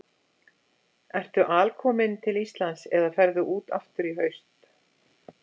Ertu alkominn til Íslands eða ferðu út aftur í haust?